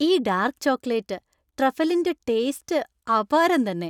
ഈ dark chocolate ട്രഫലിന്‍റെ taste അപാരം തന്നെ.